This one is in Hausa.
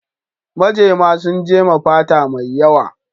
Majema sun jema fata mai yawa.